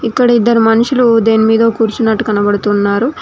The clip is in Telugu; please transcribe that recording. ఇక్కడ ఇద్దరు మనుషులు దేని మీదో కూర్చున్నట్టు కనబడుతున్నారు.